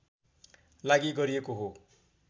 लागि गरिएको हो